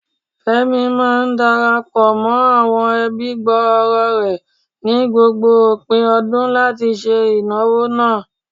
Fẹ́mi máa ń dara pọ̀ mọ́ àwọn ẹbí gbòòrò rẹ̀ ni gbogbo òpin ọdún láti ṣe ìnáwó náà.